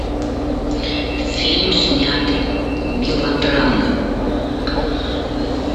фильм снятый мелодрамы